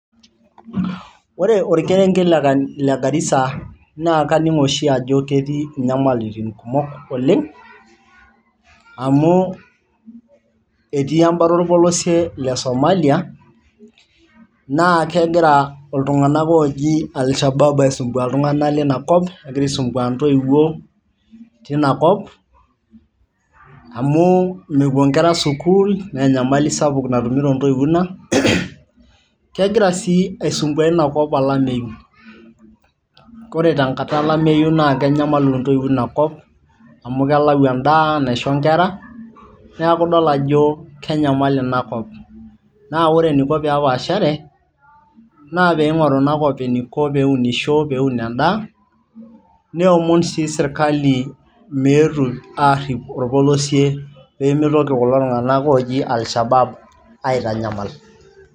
Ore orkerenket le Garisa na kaning oshi ajo ketii nyamalitin kumok oleng, amu etii embata orpolosie le Somalia naa kegira ltunganak oji alshabab aisumbua ltunganak leina kop aisumpua ntoiwuo tinakop amu mepuo nkera sukul naa enyamali sapuk natumito ntoiwuo ina ,kegira si aisumbua inakop olameyu kore tenkata olameyu na kenyamalu ntoiwuo ina kop amu kelau endaa naisho nkera neaku idol ajo kenyamal inakop ,na ore eniko peepashare na peingoru inakop eneiko pee unisho peun endaa neomon sii serkali meetu arip orpolosie pemitokini kulo tunganak oji alshabab aitanyamal.